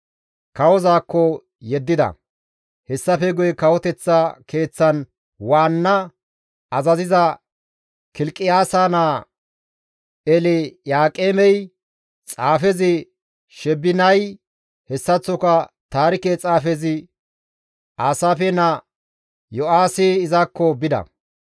Kawozaakko yeddida; hessafe guye kawoteththa keeththan waanna azaziza Kilqiyaasa naa Elyaaqeemey, xaafezi Sheebinay, hessaththoka taarike xaafiza Aasaafe naa Yo7aahi izakko bida.